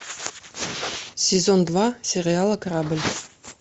сезон два сериала корабль